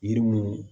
Yiri mun